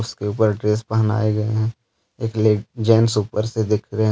इसके ऊपर ड्रेस पहनाए गए हैं। एक ले जेंट्स ऊपर से देख रहे--